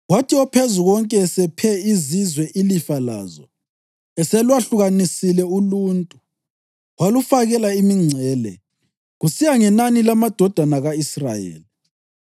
Kwathi oPhezukonke esephe izizwe ilifa lazo, eselwahlukanisile uluntu, walufakela imingcele, kusiya ngenani lamadodana ka-Israyeli.